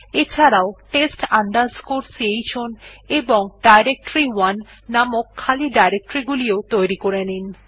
এছাড়াও test chown এবং ডিরেক্টরি1 নামের খালি ডিরেকটরি গুলিও তৈরী করে নিন